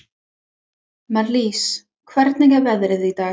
Marlís, hvernig er veðrið í dag?